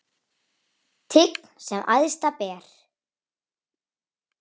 Tign sem æðsta ber.